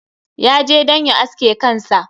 Ya je don ya aske kansa.